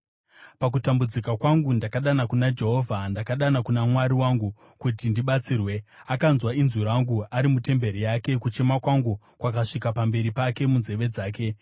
Pakutambudzika kwangu ndakadana kuna Jehovha; ndakadana kuna Mwari wangu kuti ndibatsirwe. Akanzwa inzwi rangu ari mutemberi yake; kuchema kwangu kwakasvika pamberi pake munzeve dzake.